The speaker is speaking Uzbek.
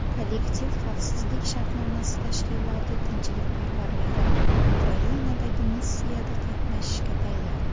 Kollektiv xavfsizlik shartnomasi tashkiloti tinchlikparvarlari Ukrainadagi missiyada qatnashishga tayyor.